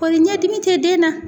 Kɔri ɲɛ dimi te den na?